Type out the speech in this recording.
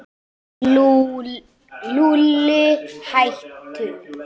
Lúlli, hættu.